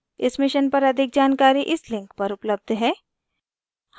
इस mission पर अधिक जानकारी इस link पर उपलब्ध है